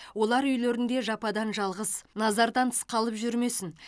олар үйлерінде жападан жалғыз назардан тыс қалып жүрмесін